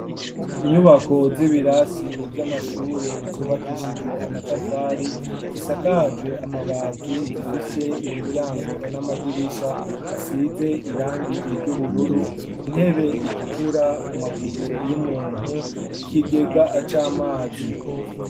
Inyubako z'ibirasi vy'amashuri zubakishijwe amatafari zisakaje amabati zifise imiryango n'amadirisha asize irangi ry'ubururu intebe itukura amaguru y'umuntu ikigega c'amazi